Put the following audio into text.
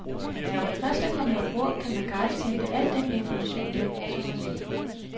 Når man først er kommet ombord, kan man gratis hente al den information hjem, som man vil.